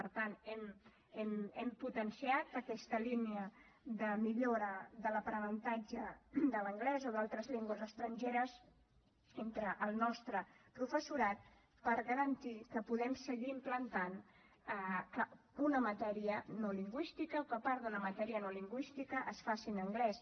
per tant hem potenciat aquesta línia de millora de l’aprenentatge de l’anglès o d’altres llengües estrangeres entre el nostre professorat per garantir que podem seguir implantant una matèria no lingüística o que part d’una matèria no lingüística es faci en anglès